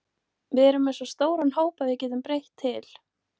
Við erum með svo stóran hóp að við getum breytt til.